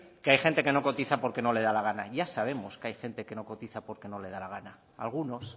que hay gente que no cotiza porque no le da la gana ya sabemos que hay gente que no cotiza porque no le da la gana algunos